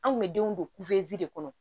An kun bɛ denw don kuzini de kɔnɔ